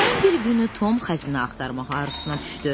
Günlərin bir günü Tom xəzinə axtarmaq arzusuna düşdü.